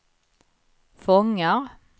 fångar